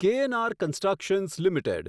KNR constructions limited